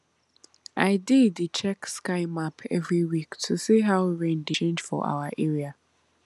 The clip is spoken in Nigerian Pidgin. i dey dey check sky map every week to see how rain dey change for our area